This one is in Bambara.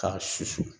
K'a susu